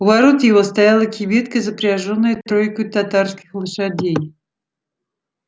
у ворот его стояла кибитка запряжённая тройкою татарских лошадей